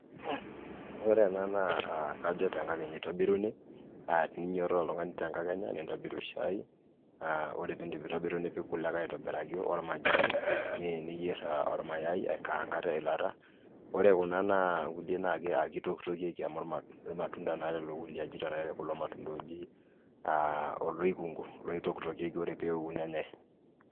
Ore ena aa kajo tenkakenya a teninyototo oltungani tenkakenya nintobiru shai, ore piindip aitobiru nipik kule aitobiraki ormajani, niyer ormayai aikaanga teilata ore kuna kulie na kitoktokieki amu irmatunda na kulo kulie, irmatunda na oji oloikungu ore peoku nenyae.